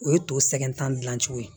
O ye to sɛgɛnta dilan cogo ye